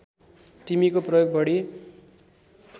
तिमीको प्रयोग बढी